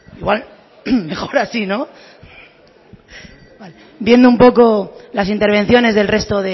igual mejor así no viendo un poco las intervenciones del resto